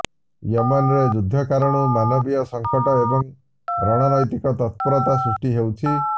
ୟେମେନ୍ରେ ଯୁଦ୍ଧ କାରଣରୁ ମାନବୀୟ ସଙ୍କଟ ଏବଂ ରଣନୈତିକ ତତ୍ପରତା ସୃଷ୍ଟି ହୋଉଛି